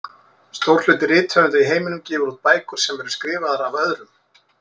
Stór hluti rithöfunda í heiminum gefur út bækur sem eru skrifaðar af öðrum.